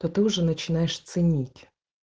то ты уже начинаешь ценить